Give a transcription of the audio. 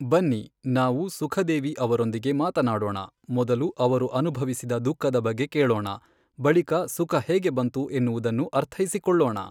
ಬನ್ನಿ, ನಾವು ಸುಖ ದೇವಿ ಅವರೊಂದಿಗೆ ಮಾತನಾಡೋಣ, ಮೊದಲು ಅವರು ಅನುಭವಿಸಿದ ದುಃಖದ ಬಗ್ಗೆ ಕೇಳೋಣ, ಬಳಿಕ ಸುಖ ಹೇಗೆ ಬಂತು ಎನ್ನುವುದನ್ನು ಅರ್ಥೈಸಿಕೊಳ್ಳೋಣ.